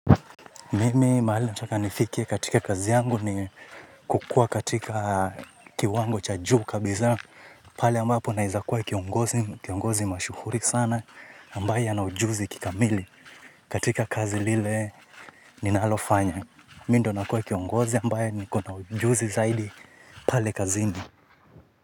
Mimi mahali nataka nifike katika kazi yangu ni kukua katika kiwango cha juu kabisa pale ambapo naeza kuwa kiongozi kiongozi mashuhuri sana ambaye ana ujuzi kikamili katika kazi lile ninalofanya mi ndo nakuwa kiongozi ambaye nikona ujuzi zaidi pale kazini.